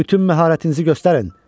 Bütün məharətinizi göstərin!